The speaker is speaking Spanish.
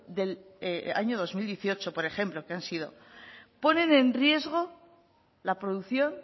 del año dos mil dieciocho por ejemplo que han sido ponen en riesgo la producción